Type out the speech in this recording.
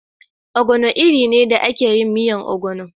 Ogbono iri ne da ake yin miyan ogbono.